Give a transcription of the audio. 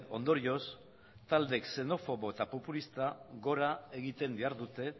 ondorioz talde xenofobo eta populistak jora egiten dihardute